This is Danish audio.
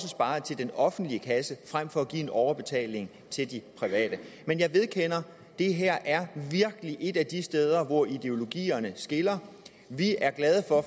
sparet til den offentlige kasse frem for at give en overbetaling til de private men jeg vedkender at det her virkelig er et af de steder hvor ideologien skiller vi er glade for